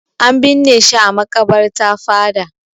An binne shi a maƙabarta fada.